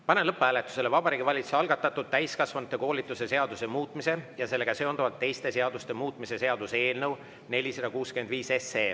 Panen lõpphääletusele Vabariigi Valitsuse algatatud täiskasvanute koolituse seaduse muutmise ja sellega seonduvalt teiste seaduste muutmise seaduse eelnõu 465.